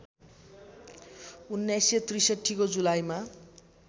१९६३ को जुलाईमा